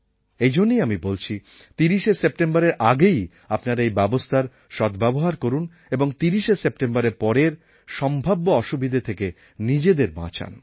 এইজন্যই আমি বলছি ৩০শে সেপ্টেম্বরের আগেই আপনারা এই ব্যবস্থার সদ্ব্যবহার করুন এবং ৩০শে সেপ্টেম্বরের পরের সম্ভাব্য অসুবিধা থেকে নিজেদের বাঁচান